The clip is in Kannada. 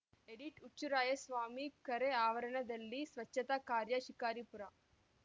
ಎಡಿಟ್‌ ಹುಚ್ಚುರಾಯಸ್ವಾಮಿ ಕೆರೆ ಆವರಣದಲ್ಲಿ ಸ್ವಚ್ಛತಾ ಕಾರ್ಯ ಶಿಕಾರಿಪುರ